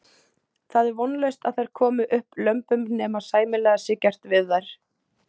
Það er vonlaust að þær komi upp lömbum nema sæmilega sé gert við þær.